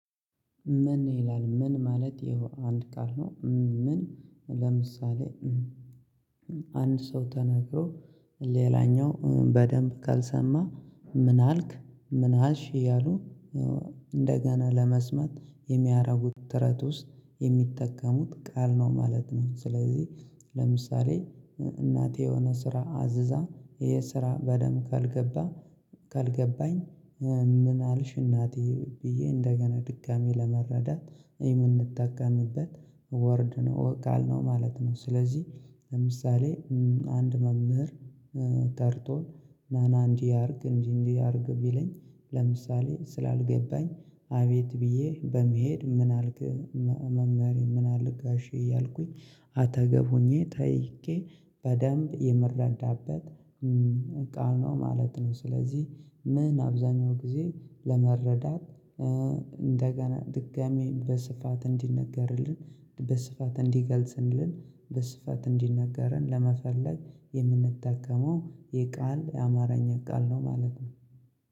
ምን ይላል ምን ማለት ይኸው አንድ ቃል ነው ምን? ለምሳሌ አንድ ሰው ተናግሮ ሌላኛው በደንብ ካልሰማ ምን አልክ ምን አልሽ እያሉ እንደገና ለመስማት የሚያደርጉት ጥረት ውስጥ የሚጠቀሙት ቃል ነው ማለት ነው። ስለዚህ ለምሳሌ እናቴ የሆነ ስራ አዝዛ ይሄ ስራ በደንብ ካልገባ ካልገባኝ ምን አልሽ እናት ብዬ እንደገና ድጋሚ ለመረዳት የምንጠቀምበት ወርድ ነው ቃል ነው ማለት ነው። ስለዚህ ለምሳሌ አንድ መምህር ጠርቶ ናና እንዲህ አድርግ እንዲህ እንዲህ አድርግ ቢለኝ ለምሳሌ ስላልገባኝ አቤት ብዬ በመሄድ ምን አልክ መመሬ ምን አልክ ጋሼ እያልኩኝ አጠገብብ ሆኜ ጠይቄ በደንብ የምረዳበት ቃል ነው ማለት ነው። ስለዚህ ምን አብዛኛው ጊዜ ለመረዳት እንደገና ድጋሚ በስፋት እንዲነገርልን በስፋት እንዲገልጽንልን በስፋት እንዲነገረን ለመፈር የምንጠቀመው የቃል የአማርኛ ቃል ነው ማለት ነው